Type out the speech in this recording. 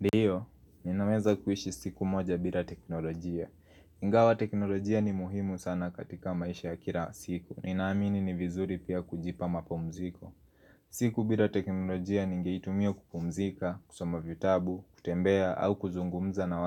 Ndiyo, ninaweza kuishi siku moja bila teknolojia. Ingawa teknolojia ni muhimu sana katika maisha ya kila siku. Ninaamini ni vizuri pia kujipa mapumziko. Siku bila teknolojia ningeitumia kukumzika, kusomavyo tabu, kutembea au kuzungumza na